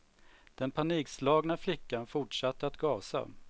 Den panikslagna flickan fortsatte att gasa.